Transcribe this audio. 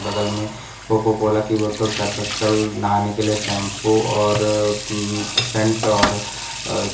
बगल में कोकोकोला की बोतल सर्फ एक्सेल नहाने के लिए शैंपू और म्म सेंट और अ --